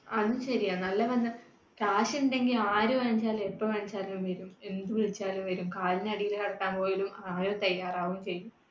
അതും ശരിയാണ് നല്ല ബന്ധം, കാശ് ഉണ്ടെങ്കിൽ ആര് വെണച്ചാലും എപ്പോ വിളിച്ചാലും വരും. എന്ത് വിളിച്ചാലും വരും. കാലിനടിയിൽ ആരും തയ്യാറാവും ചെയ്യും.